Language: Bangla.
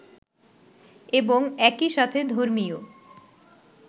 এবং একই সাথে ধর্মীয়